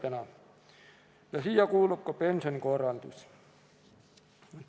Ja nende hulka kuulub ka pensionikorraldus.